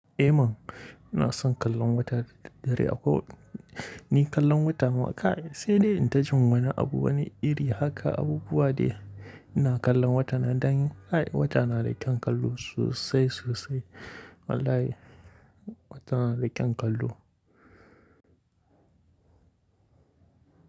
Eh man, ina son kallon wata da daddare akwai. Ni kallon wata ma kai sai dai in ta jin wani abu wani iri haka abubuwa dai ina kallon wata nan dan ai wata na da kyan kallo sosai sosai. Wallahi wata na da kyan kallo.